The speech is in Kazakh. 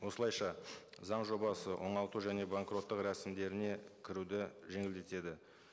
осылайша заң жобасы оңалту және банкроттық рәсімдеріне кіруді жеңілдетеді